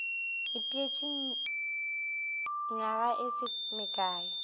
ipeetše nywaga e se mekae